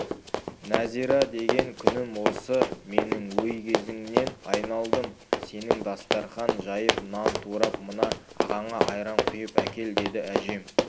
нәзира деген күнім осы менің өй көзіңнен айналдым сенің дастарқан жайып нан турап мына ағаңа айран құйып әкел деді әжем